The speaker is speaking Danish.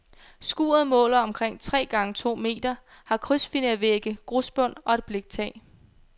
Skuret måler omkring tre gange to meter, har krydsfinervægge, grusbund og et bliktag.